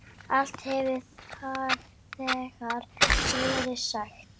Allt hefur þegar verið sagt.